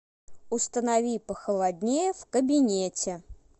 установи похолоднее в кабинете